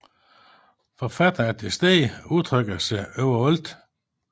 Forfatteren er tilstede og udtrykker sig overalt